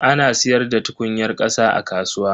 Ana siyar da tukunyar kasa a kasuwa.